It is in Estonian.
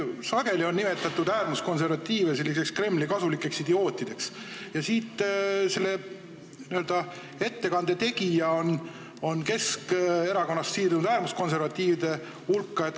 Äärmuskonservatiive on sageli nimetatud Kremli kasulikeks idiootideks ja selle siinse ettekande tegija on siirdunud Keskerakonnast äärmuskonservatiivide hulka.